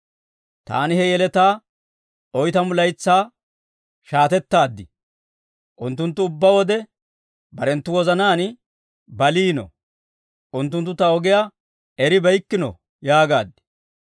Taani he yeletaa oytamu laytsaa shaatettaad; ‹Unttunttu ubbaa wode barenttu wozanaan baliino; unttunttu ta ogiyaa eribeykkino yaagaad.